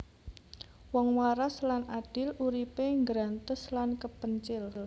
Wong waras lan adil uripe nggrantes lan kepencil